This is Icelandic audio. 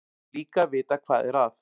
Og líka að vita hvað er að.